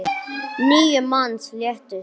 Níu manns létust.